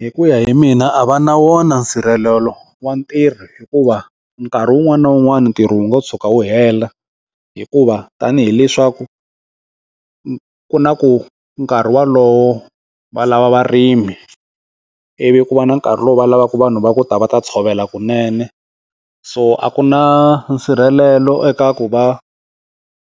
Hi ku ya hi mina a va na wona nsirhelelo wa ntirho hikuva nkarhi wun'wani na wun'wani ntirho wu ngo tshuka wu hela hikuva tanihi leswaku ku na ku nkarhi wolowo va lava varimi i vi ku va na nkarhi lowu va lavaka vanhu va ku ta va ta tshovela kunene so a ku na nsirhelelo eka ku va